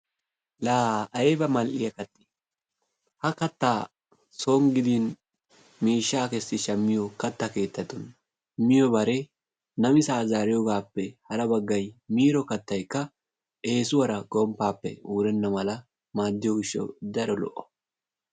Laa ayba mal"iya kattee? Ha kattaa son gidin miishshaa kessi shammiyo katta keettatun miyobare namisaa zaariyogaappe hara baggay miiro kattaykka eesuwara gomppaappe wurenna mala maaddiyo gishshawu daro lo'o.